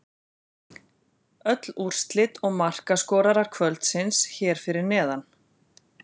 Öll úrslit og markaskorarar kvöldsins hér fyrir neðan: